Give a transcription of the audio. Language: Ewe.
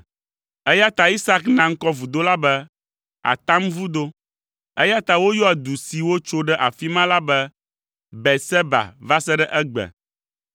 Eya ta Isak na ŋkɔ vudo la be, “Atamvudo.” Eya ta woyɔa du si wotso ɖe afi ma la be Beerseba va se ɖe egbe.